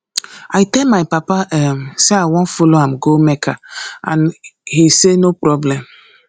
i tell my papa um say i wan follow am go mecca and he say no problem